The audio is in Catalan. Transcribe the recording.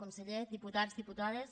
consellers diputats diputades